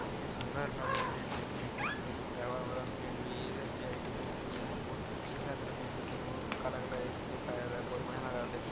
काफी सुन्दर लग रहे है देखने में ग्रिल से गिराया हुआ रंग पेंट भी ये एस.बी.आई. बैंक में किये है बहुत अच्छे लग रहे है देखने में काला-काला दिखाया गया है बहुत बढ़िया लग रहा है देखने में।